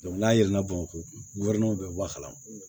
n'a yɛlɛnna bamakɔ bɛ bɔ a kalama